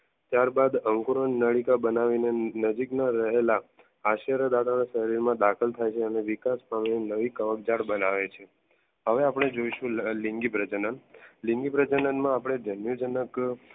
ત્યારબાદ અંગોની નડી બનાવીને નજીકના રહેલા આશ્ચર્ય દાદા ના શરીરમાં દાખલ થાય છે અને વિકાસ પામીને નવી કવક જાળ બનાવે છે. હવે આપણે જોઈશું લિંગી પ્રજનન લિંગી પ્રજનન માં આપણે જન્યુજનક